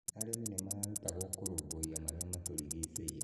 arĩmi nĩmarutagwo kũrũmbũiya marĩa maturigicĩirie